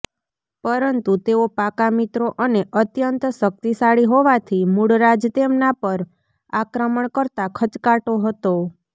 પરંતુ તેઓ પાક્કા મિત્રો અને અત્યંત શક્તિશાળી હોવાથી મૂળરાજ તેમના પર આક્રમણ કરતાં ખચકાતો હતો